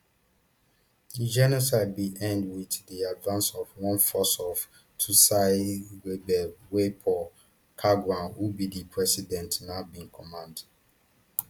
di genocide bin end wit di advance of one force of tutsiled rebels wey paul kagame who be di president now bin command